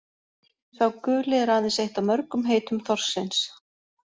Sá guli er aðeins eitt af mörgum heitum þorsksins.